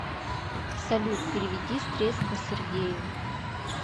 салют переведи средства сергею